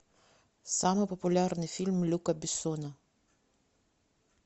самый популярный фильм люка бессона